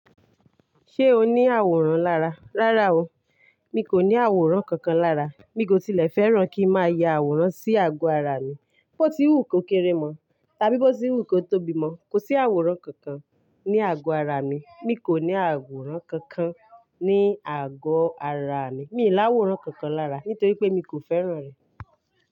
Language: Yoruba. Ṣé o ní àwòrán lára? Rárá o, mi kò ní àwòrán kankan lára. Mi kò tilẹ̀ fẹ́ràn kí n máa ya àwòrán sí àgọ́ ara mi. Bí ó ti wù kó kéré mọ̀, ta bí bó ti wù kó tóbi mọ́, kò sí àwòrán kankan ní àgọ́ ara mi. Mi kò ní àwòrán kankan ní àgọ́ ara mi. Mi ì láwòrán kankan lára, nítorí pé mi kò fẹ́ràn rẹ̀.